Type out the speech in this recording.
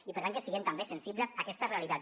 i per tant que siguem també sensibles a aquesta realitat